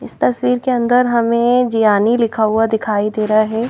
इस तस्वीर के अंदर हमें जियानी लिखा हुआ दिखाई दे रहा है।